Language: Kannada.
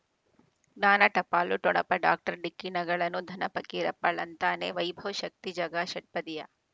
ಜ್ಞಾನ ಟಪಾಲು ಠೊಣಪ ಡಾಕ್ಟರ್ ಢಿಕ್ಕಿ ಣಗಳನು ಧನ ಫಕೀರಪ್ಪ ಳಂತಾನೆ ವೈಭವ್ ಶಕ್ತಿ ಝಗಾ ಷಟ್ಪದಿಯ